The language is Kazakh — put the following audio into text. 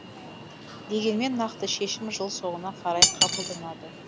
дегенмен нақты шешім жыл соңына қарай қабылданады